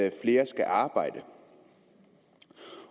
at flere skal arbejde